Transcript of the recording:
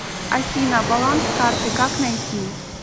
афина баланс карты как найти